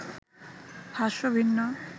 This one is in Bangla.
ভাষ্য ভিন্ন